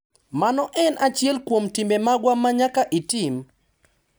Mano en achiel kuom timbe magwa ma nyaka itim.